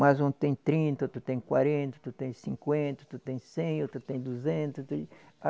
Mas um tem trinta, outro tem quarenta, outro tem cinquenta, outro tem cem, outro tem duzentos, outro